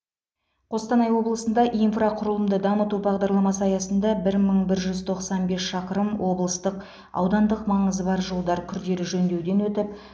қостанай облысында инфрақұрылымды дамыту бағдарламасы аясында бір мың бір жүз тоқсан бес шақырым облыстық аудандық маңызы бар жолдар күрделі жөндеуден өтіп